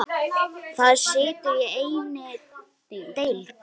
Það situr í einni deild.